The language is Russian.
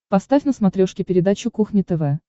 поставь на смотрешке передачу кухня тв